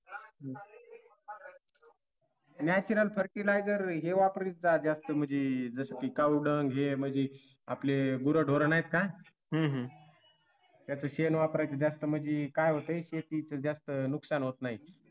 natural futurizer हे वापरत जा जसं की कावड हे म्हणजे आपली गुरंढोरं नाहीत का याच शेण वापरायच जास्त म्हणजे काय होतंय शेतीच जास्त नुकसान होत नाही.